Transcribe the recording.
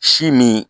Si min